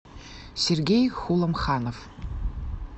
сергей хуламханов